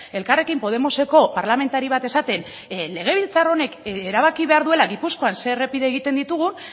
elkarrekin podemoseko parlamentari bat esaten legebiltzar honek erabaki behar duela gipuzkoan zer errepide egiten ditugun